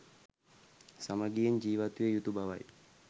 සමගියෙන් ජිවත්විය යුතු බවයි